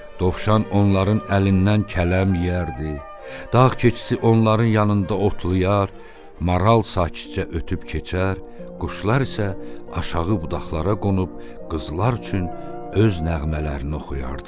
Dovşan onların əlindən kələm yeyərdi, dağ keçisi onların yanında otlayar, maral sakitcə ötüb keçər, quşlar isə aşağı budaqlara qonub qızlar üçün öz nəğmələrini oxuyardılar.